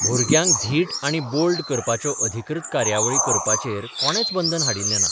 भुरग्यांक धीट आनी बोल्ड करपाच्यो अधिकृत कार्यावळी करपाचेर कोणेंच बंदन हाडिल्लें ना.